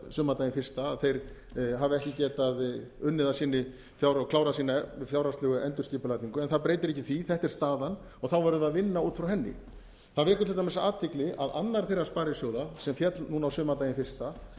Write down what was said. sumardaginn fyrsta að þeir hafi ekki getað unnið að sinni og klárað sína fjárhagslegu endurskipulagningu en það breytir ekki því þetta er staðan og verðum við að vinna út frá henni það vekur til dæmis athygli að annar þeirra sparisjóða sem féll núna á sumardaginn fyrsta